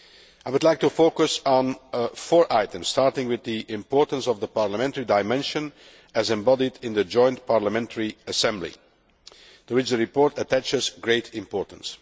I would like to focus on four items, starting with the importance of the parliamentary dimension as embodied in the Joint Parliamentary Assembly, to which the report attaches great importance.